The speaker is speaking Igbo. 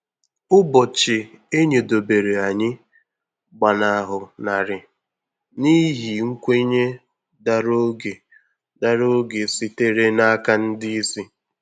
Ụbọchị enyedobere anyị gbanahụ narị n’ihi nkwenye dara oge dara oge sitere n’aka ndị isi.